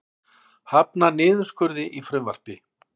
Hafnar niðurskurði í frumvarpi